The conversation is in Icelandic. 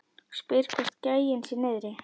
Spyr hvort gæinn sé niðri.